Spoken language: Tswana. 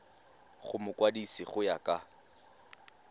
go mokwadise go ya ka